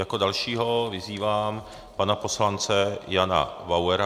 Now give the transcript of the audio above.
Jako dalšího vyzývám pana poslance Jana Bauera.